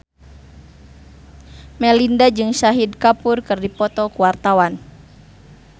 Melinda jeung Shahid Kapoor keur dipoto ku wartawan